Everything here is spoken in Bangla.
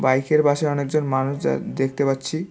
বাইকের পাশে অনেকজন মানুষ যা দেখতে পাচ্ছি।